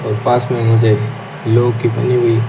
और पास में ही ये लोह कि बनी हुई--